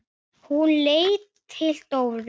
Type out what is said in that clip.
Hún leit til Dóru.